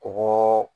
Kɔgɔ